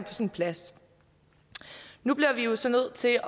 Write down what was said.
sin plads nu bliver vi jo så nødt til